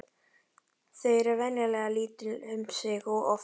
Þau eru venjulega lítil um sig og oft djúp.